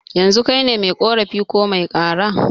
Yanzu kaine mai ƙorafi ko mai kara?